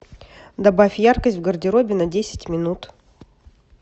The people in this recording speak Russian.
добавь яркость в гардеробе на десять минут